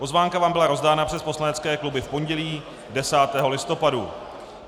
Pozvánka vám byla rozdána přes poslanecké kluby v pondělí 10. listopadu.